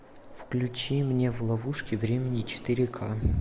включи мне в ловушке времени четыре ка